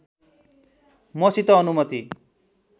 मसित अनुमति